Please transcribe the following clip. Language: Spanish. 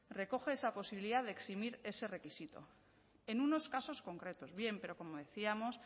recoge esa posibilidad de eximir ese requisito en unos casos concretos bien pero como decíamos